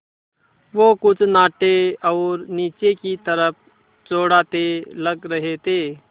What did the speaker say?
वो कुछ नाटे और नीचे की तरफ़ चौड़ाते लग रहे थे